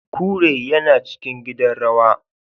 Kure yana cikin gidan rawaya